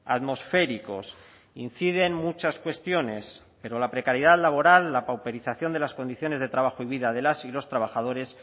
atmosféricos incide en muchas cuestiones pero la precariedad laboral la pauperización de las condiciones de trabajo y vida de las y los trabajadores